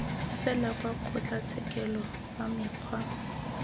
fela kwa kgotlatshekelo fa mekgwa